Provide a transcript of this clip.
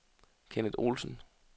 Kenneth Olsen